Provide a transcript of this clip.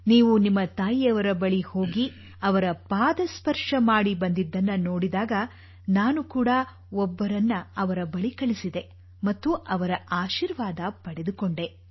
ನೀವು ನಿಮ್ಮ ತಾಯಿಯವರ ಬಳಿ ಹೋಗಿ ಅವರ ಪಾದಸ್ಪರ್ಶ ಮಾಡಿ ಬಂದಿದ್ದನ್ನು ನೋಡಿದಾಗ ನಾನು ಕೂಡಾ ಒಬ್ಬರನ್ನು ಅವರ ಬಳಿ ಕಳಿಸಿದೆ ಮತ್ತು ಅವರ ಆಶೀರ್ವಾದ ಪಡೆದುಕೊಂಡೆ